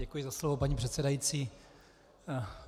Děkuji za slovo, paní předsedající.